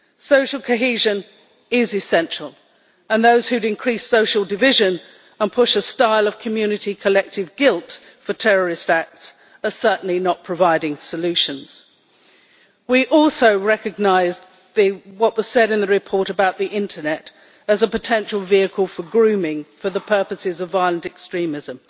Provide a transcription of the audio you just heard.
Social cohesion is essential, and those who increase social division and push a style of community collective guilt for terrorist acts are certainly not providing solutions. We also recognise what was said in the report about the internet as a potential vehicle for grooming for the purposes of violent extremism.